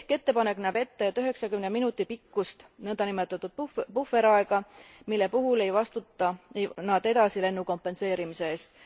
Ehk ettepanek näeb ette üheksakümne minuti pikkust nõndanimetatud puhveraega, mille puhul ei vastuta nad edasilennu kompenseerimise eest.